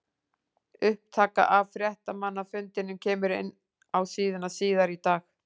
Upptaka af fréttamannafundinum kemur inn á síðuna síðar í dag.